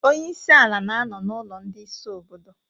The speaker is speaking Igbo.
Onye isi ala na-anọ na ulo ndị isi obodo